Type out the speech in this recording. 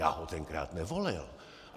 Já ho tenkrát nevolil.